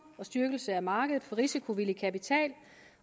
og styrkelse af markedet for risikovillig kapital